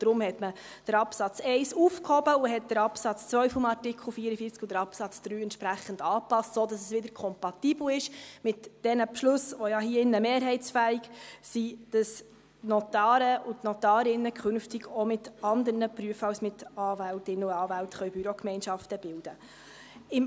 Deshalb hat man den Absatz 1 aufgehoben und die Absätze 2 und 3 des Artikels 44 entsprechend angepasst, sodass es wieder mit den Beschlüssen kompatibel ist, die hier im Rat ja mehrheitsfähig sind, wonach die Notare und Notarinnen künftig auch mit anderen Berufsgruppen als mit Anwältinnen und Anwälten Bürogemeinschaften bilden können.